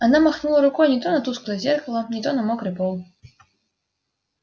она махнула рукой не то на тусклое зеркало не то на мокрый пол